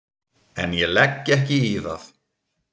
En ég legg ekki í það.